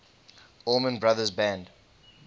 allman brothers band